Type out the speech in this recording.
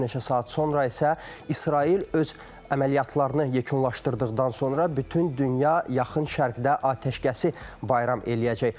Bir neçə saat sonra isə İsrail öz əməliyyatlarını yekunlaşdırdıqdan sonra bütün dünya yaxın şərqdə atəşkəsi bayram eləyəcək.